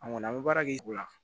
An kɔni an bɛ baara kɛ ola